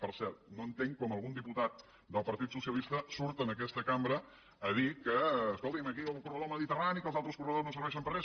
per cert no entenc com algun diputat del partit socialista surt en aquesta cambra a dir que escolti’m aquí el corredor mediterrani que els altres corredors no serveixen per a res